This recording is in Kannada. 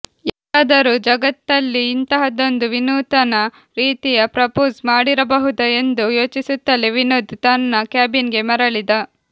ಯಾರಾದರೂ ಜಗತ್ತಲ್ಲಿ ಇಂತಹದ್ದೊಂದು ವಿನೂತನ ರೀತಿಯ ಪ್ರಪೋಸ್ ಮಾಡಿರಬಹುದಾ ಎಂದು ಯೋಚಿಸುತ್ತಲೇ ವಿನೋದ್ ತನ್ನ ಕ್ಯಾಬಿನ್ ಗೆ ಮರಳಿದ